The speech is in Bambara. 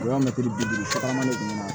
O y'a mɛtiri bi duuru sara ɲuman